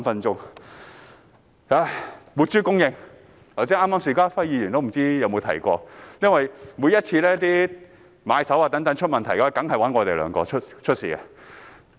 在活豬供應方面，不知邵家輝議員剛才有否提到，因為每每買手遇上問題，他們一定會找我們兩人。